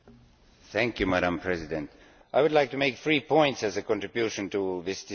Madam President, I would like to make three points as a contribution to this discussion.